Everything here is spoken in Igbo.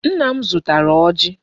Nna m zụtara ọjị.